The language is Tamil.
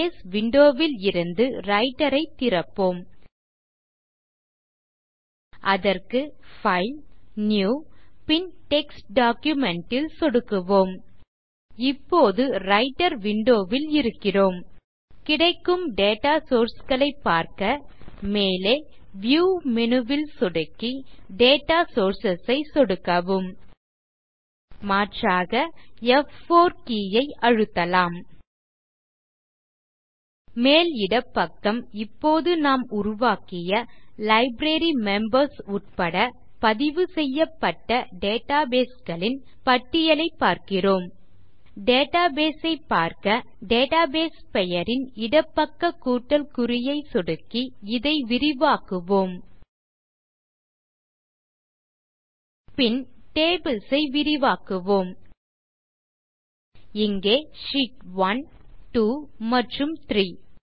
முதலில் பேஸ் விண்டோ ல் இருந்து ரைட்டர் ஐ திறப்போம் அதற்கு பைல் நியூ பின் டெக்ஸ்ட் டாக்குமென்ட் ல் சொடுக்குவோம் இப்போது ரைட்டர் விண்டோ ல் இருக்கிறோம் கிடைக்கும் டேட்டா சோர்ஸ் களை பார்க்க மேலே வியூ மேனு ல் சொடுக்கி டேட்டா சோர்சஸ் ஐ சொடுக்கவும் மாற்றாக ப்4 கே ஐ அழுத்தலாம் மேல்இடப்பக்கம் இப்போது நாம் உருவாக்கிய லைப்ரரிமெம்பர்ஸ் உட்பட பதிவுசெய்யப்பட்ட டேட்டாபேஸ் களின் பட்டியலை பார்க்கிறோம் டேட்டாபேஸ் ஐ பார்க்க டேட்டாபேஸ் பெயரின் இடப்பக்க கூட்டல் குறியை சொடுக்கி இதை விரிவாக்குவோம் பின் டேபிள்ஸ் ஐ விரிவாக்குவோம் இங்கே ஷீட்1 2 மற்றும் 3